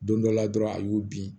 Don dɔ la dɔrɔn a y'u bin